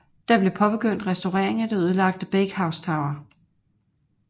Der blev påbegyndt restaurering af det ødelagte Bakehouse Tower